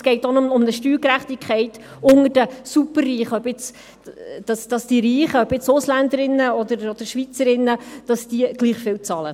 Es geht auch um eine Steuergerechtigkeit unter den Superreichen, seien das nun Schweizerinnen und Schweizer oder Ausländerinnen und Ausländer, sodass diese gleichviel bezahlen.